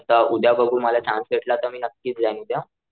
आता उद्या बघू मला चान्स भेटला तर मी नक्कीच जाईल उद्या.